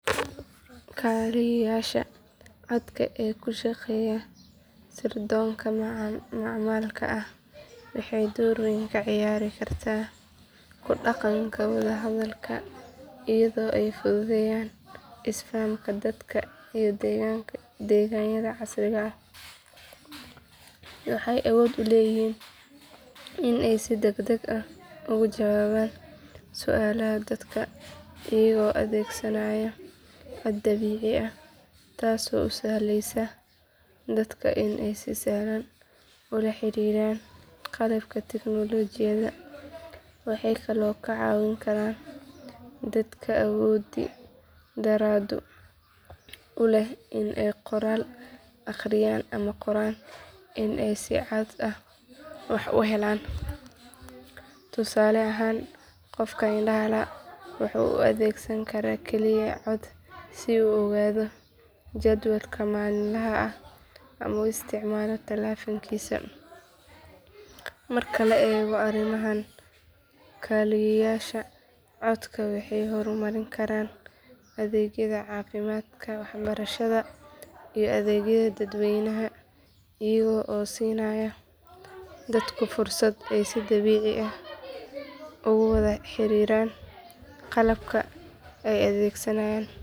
Kaaliyaasha codka ee ku shaqeeya sirdoonka macmalka ah waxay door weyn ka ciyaari karaan ku dhaqanka wada hadalka iyadoo ay fududeynayaan isfahamka dadka iyo adeegyada casriga ah. Waxay awood u leeyihiin in ay si degdeg ah uga jawaabaan su’aalaha dadka iyaga oo adeegsanaya cod dabiici ah taasoo u sahlaysa dadka in ay si sahlan ula xiriiraan qalabka tignoolajiyada. Waxay kaloo ka caawin karaan dadka awoodi darrada u leh in ay qoraal akhriyaan ama qoraan in ay si cod ah wax u helaan. Tusaale ahaan qof indhaha la’ waxa uu adeegsan karaa kaaliye cod si uu u ogaado jadwalka maalinlaha ah ama u isticmaalo taleefankiisa. Marka la eego arrimahan kaaliyaasha codka waxay horumarin karaan adeegyada caafimaadka waxbarashada iyo adeegyada dadweynaha iyaga oo siinaya dadku fursad ay si dabiici ah ugu wada xiriiraan qalabka ay adeegsanayaan.